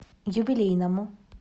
юбилейному